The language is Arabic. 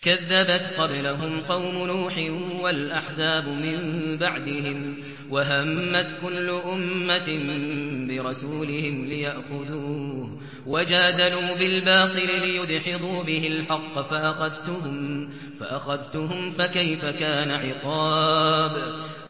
كَذَّبَتْ قَبْلَهُمْ قَوْمُ نُوحٍ وَالْأَحْزَابُ مِن بَعْدِهِمْ ۖ وَهَمَّتْ كُلُّ أُمَّةٍ بِرَسُولِهِمْ لِيَأْخُذُوهُ ۖ وَجَادَلُوا بِالْبَاطِلِ لِيُدْحِضُوا بِهِ الْحَقَّ فَأَخَذْتُهُمْ ۖ فَكَيْفَ كَانَ عِقَابِ